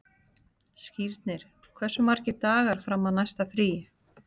Skírnir, hversu margir dagar fram að næsta fríi?